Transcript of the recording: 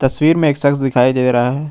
तस्वीर में एक सक्स दिखाई दे रहा है।